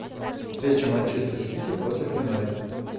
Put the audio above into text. встреча манчестер сити против юнайтед